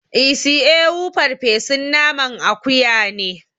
Isi ewu farfesun naman akuya ne